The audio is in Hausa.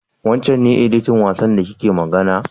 Wancen ne editan wasan da kike faɗa?